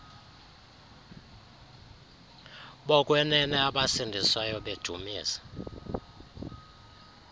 bokwenene abasindiswayo bedumisa